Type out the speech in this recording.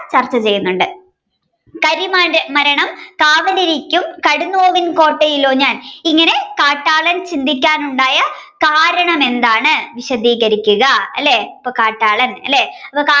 ചർച്ചചെയ്യുന്നുണ്ട് കരുമാനിന്റെ മരണം കാവലിരിക്കും കടുന്നൊവിന് കോട്ടയിലോ ഞാൻ ഇങ്ങനെ കാട്ടാളൻ ചിന്തിക്കാനുണ്ടായ കാരണം എന്താണ് വിശധികരിക്കുക അല്ലെ അപ്പൊ കാട്ടാളൻ അല്ലെ അപ്പൊ